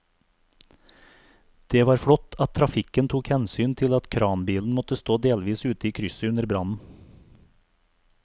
Det var flott at trafikken tok hensyn til at kranbilen måtte stå delvis ute i krysset under brannen.